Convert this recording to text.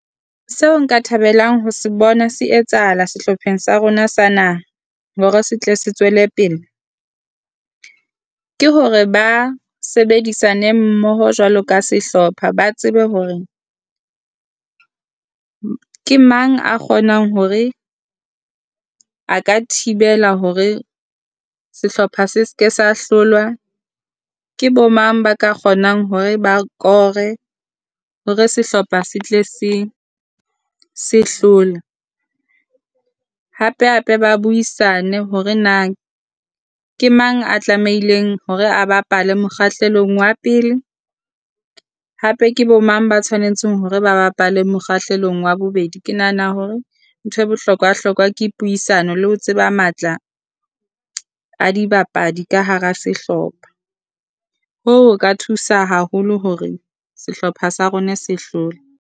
Seo nka thabelang ho se bona se etsahala sehlopheng sa rona sa naha hore se tle se tswele pele, ke hore ba sebedisane mmoho jwalo ka sehlopha. Ba tsebe hore ke mang a kgonang hore a ka thibela hore sehlopha se ske sa hlolwa, ke bo mang ba ka kgonang hore ba kore hore sehlopha se tle se se hlole. Hape hape ba buisane hore na ke mang a tlamehileng hore a bapale mokgahlelong wa pele, hape ke bo mang ba tshwanetseng hore ba bapale mokgahlelong wa bobedi. Ke nahana hore nthwe bohlokwa hlokwa ke puisano le ho tseba matla a dibapadi ka hara sehlopha. Hoo ho ka thusa haholo hore sehlopha sa rona se hlole.